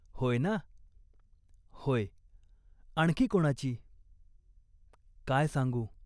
होय ना ?"" होय." "आणखी कोणाची ?" "काय सांगू ?